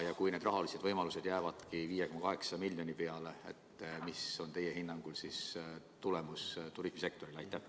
Ja kui need rahalised võimalused jäävad 5,8 miljoni peale, siis milline on teie hinnangul tagajärg turismisektorile?